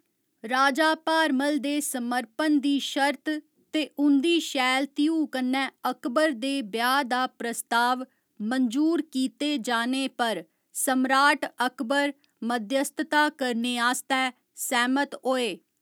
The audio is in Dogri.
राजा भारमल दे समर्पण दी शर्त ते उं'दी शैल धीऊ कन्नै अकबर दे ब्याह् दा प्रस्ताव मंजूर कीते जाने पर सम्राट अकबर मध्यस्थता करने आस्तै सैह्‌मत होए।